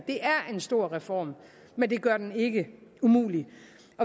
en stor reform men det gør den ikke umulig